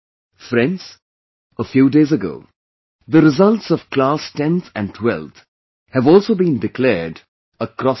Friends, a few days ago the results of class 10th and 12th have also been declared across the country